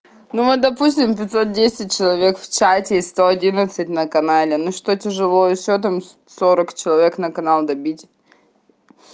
ну вот допустим пятьсот десять человек в чате сто одиннадцать на канале ну что тяжело ещё там сорок человек на канал добить